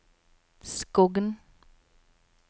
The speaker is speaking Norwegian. Skogn